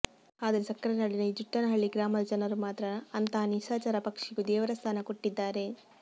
ಆದರೆ ಸಕ್ಕರೆನಾಡಿನ ಈ ಜುಟ್ಟನಹಳ್ಳಿ ಗ್ರಾಮದ ಜನರು ಮಾತ್ರ ಅಂತಹ ನಿಶಾಚರ ಪಕ್ಷಿಗೂ ದೇವರ ಸ್ಥಾನ ಕೊಟ್ಟಿದ್ದಾರೆ